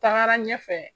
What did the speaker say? Tagara ɲɛfɛ